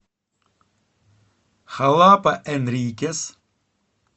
халапа энрикес